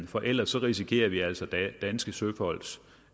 for ellers risikerer vi altså danske søfolks